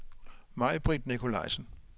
Majbrit Nikolajsen